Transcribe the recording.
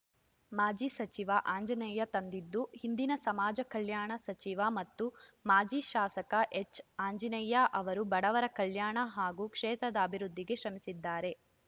ಮಾಜಿ ಸಚಿವ ಆಂಜನೇಯ ತಂದಿದ್ದು ಹಿಂದಿನ ಸಮಾಜ ಕಲ್ಯಾಣ ಸಚಿವ ಮತ್ತು ಮಾಜಿ ಶಾಸಕ ಎಚ್‌ಆಂಜನೇಯ್ಯ ಅವರು ಬಡವರ ಕಲ್ಯಾಣ ಹಾಗೂ ಕ್ಷೇತ್ರದ ಅಭಿವೃದ್ಧಿಗೆ ಶ್ರಮಿಸಿದ್ದಾರೆ